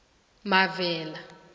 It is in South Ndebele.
mavela